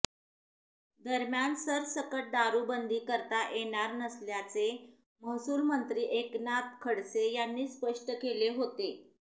दरम्यान सरसकट दारुबंदी करता येणार नसल्याचे महसूलमंत्री एकनाथ खडसे यांनी स्पष्ट केले होते